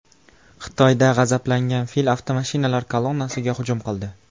Xitoyda g‘azablangan fil avtomashinalar kolonnasiga hujum qildi .